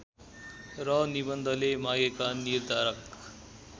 र निबन्धले मागेका निर्धारक